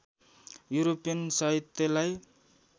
European साहित्यलाई